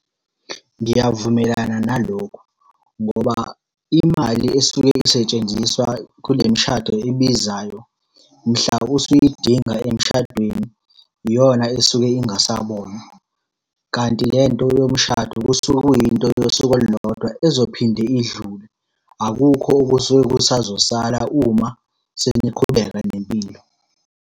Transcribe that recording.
Ngiyavumelana nalokhu, ngoba imali esuke isetshenziswa kule mishado ebizayo mhla usuyidinga emshadweni, iyona esuke ingasabonwa. Kanti lento yomshado kusuke kuyinto yosuku olulodwa ezophinde idlule. Akukho okusuke kusazosala uma seniqhubeka nempilo.